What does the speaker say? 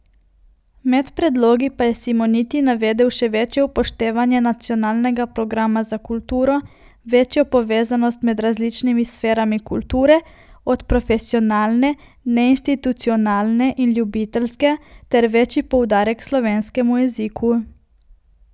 Med predlogi pa je Simoniti navedel še večje upoštevanje Nacionalnega programa za kulturo, večjo povezanost med različnimi sferami kulture, od profesionalne, neinstitucionalne in ljubiteljske ter večji poudarek slovenskemu jeziku.